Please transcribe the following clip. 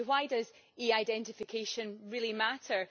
So why does e identification really matter?